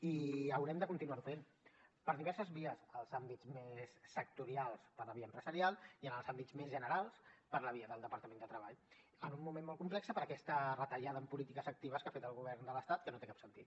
i haurem de continuar ho fent per diverses vies als àmbits més sectorials per la via empresarial i en els àmbits més generals per la via del departament de treball en un moment molt complex per aquesta retallada en polítiques actives que ha fet el govern de l’estat que no té cap sentit